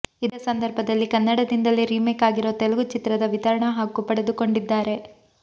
ಇದೇ ಸಂದರ್ಭದಲ್ಲಿ ಕನ್ನಡದಿಂದಲೇ ರೀಮೇಕ್ ಆಗಿರೋ ತೆಲುಗು ಚಿತ್ರದ ವಿತರಣಾ ಹಕ್ಕು ಪಡೆದುಕೊಂಡಿದ್ದಾರೆ